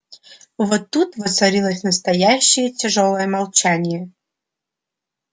вот тут воцарилось настоящее тяжёлое молчание